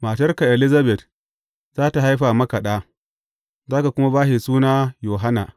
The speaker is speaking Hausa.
Matarka Elizabet za tă haifa maka ɗa, za ka kuma ba shi suna Yohanna.